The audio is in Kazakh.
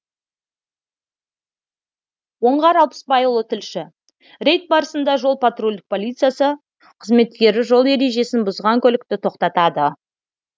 оңғар алпысбайұлы тілші рейд барысында жол патрульдік полициясы қызметкері жол ережесін бұзған көлікті тоқтатады